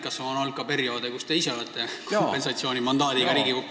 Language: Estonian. Kas on olnud ka perioode, kus te ise olete Riigikokku saanud kompensatsioonimandaadiga?